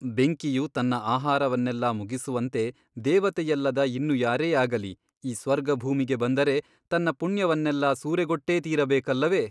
ಬೆಂಕಿಯು ತನ್ನ ಆಹಾರವನ್ನೆಲ್ಲಾ ಮುಗಿಸುವಂತೆ ದೇವತೆಯಲ್ಲದ ಇನ್ನು ಯಾರೇ ಆಗಲಿ ಈ ಸ್ವರ್ಗಭೂಮಿಗೆ ಬಂದರೆ ತನ್ನ ಪುಣ್ಯವನ್ನೆಲ್ಲಾ ಸೂರೆಗೊಟ್ಟೇ ತೀರಬೇಕಲ್ಲವೆ?